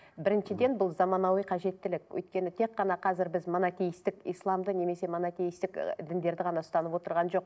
біріншіден бұл заманауи қажеттілік өйткені тек қана қазір біз монокейстік исламды немесе монокейстік ы діндерді ғана ұстанып отырған жоқ